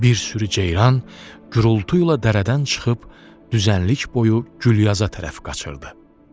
Bir sürü ceyran gurultu ilə dərədən çıxıb düzənlik boyu Gülyaza tərəf qaçırdı.